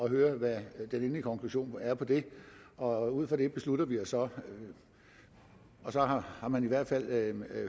og høre hvad den endelige konklusion er på det og ud fra det beslutter vi os og så har man i hvert fald